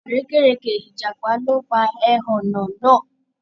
Àrékérekè ìjàpá ló pa ẹhọ̀nà náà.